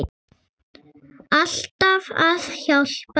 Alltaf að hjálpa til.